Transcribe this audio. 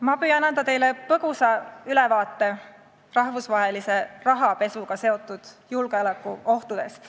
Ma püüan anda teile põgusa ülevaate rahvusvahelise rahapesuga seotud julgeolekuohtudest.